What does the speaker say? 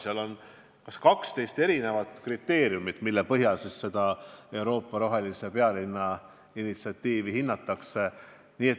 Kehtib 12 erinevat kriteeriumi, mille põhjal Euroopa rohelise pealinna initsiatiivi hinnatakse.